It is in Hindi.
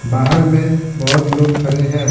बाहर में बहुत लोग खड़े हैं।